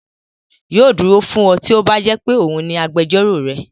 Yóò dúró fún ọ tí ó bá jẹ́ pé òun ní agbẹjọ́rò rẹ.